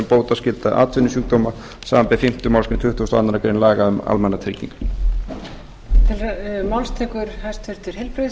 bótaskylda atvinnusjúkdóma samanber fimmtu málsgrein tuttugustu og aðra grein laga númer hundrað og sautján nítján hundruð níutíu og þrjú um almannatryggingar